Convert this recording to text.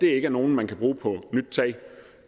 er nogen man kan bruge på nyt tag